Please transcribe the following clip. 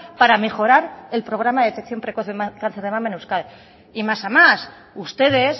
para mejorar el programa de detección precoz del cáncer de mama en euskadi y más a más ustedes